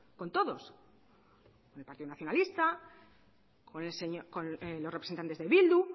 con todos con el partido nacionalista con los representantes de bildu